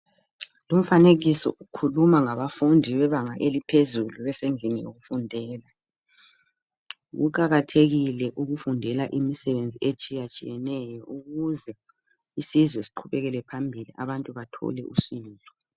Lumfanekiso ukhuluma ngabafundi bebanga eliphezulu besendlini yokufundela. Kuqakathekile ukufundela imisebenzi etshiyatshiyeneyo ukuze isizwe siqhubekele phambili abantu bathole usizo.